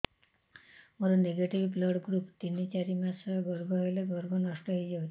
ମୋର negative blood group ତିନ ଚାରି ମାସ ଗର୍ଭ ହେଲେ ଗର୍ଭ ନଷ୍ଟ ହେଇଯାଉଛି